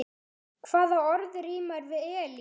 Hvaða orð rímar við Elín?